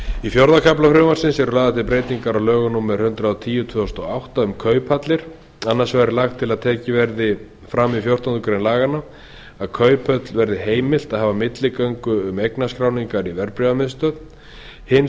í fjórða kafla frumvarpsins eru lagðar til breytingar á lögum númer hundrað og tíu tvö þúsund og átta um kauphallir annars vegar er lagt til að tekið verði fram í fjórtándu greinar laganna að kauphöll verði heimilt að hafa milligöngu um eignarskráningar í verðbréfamiðstöð hins